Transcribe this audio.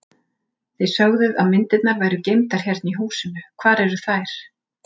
Þið sögðuð að myndirnar væru geymdar hérna í húsinu, hvar eru þær?